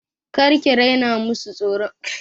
Kar ki raina masu tsaron makaranta!